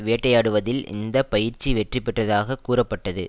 வேட்டையாடுவதில் இந்த பயிற்சி வெற்றி பெற்றதாக கூறப்பட்டது